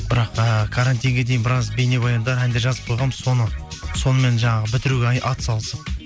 бірақ і карантинге дейін біраз бейнебаяндар әндер жазып қойғанбыз соны сонымен жаңағы бітіруге ат салысып